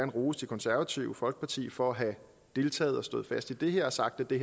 rose det konservative folkeparti for at have deltaget og stået fast i det her og sagt at det